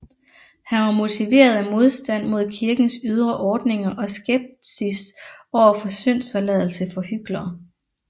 Han var motiveret af modstand mod kirkens ydre ordninger og skepsis overfor syndsforladelse for hyklere